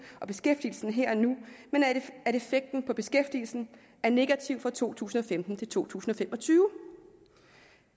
og beskæftigelsen her og nu men at effekten på beskæftigelsen er negativ fra to tusind og femten til to tusind og fem og tyve